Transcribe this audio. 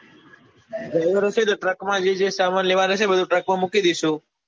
એવું હશે તો જે જે સામાન કેવા નો હશે એ truck એ બધો truck માં મૂકી દઈશું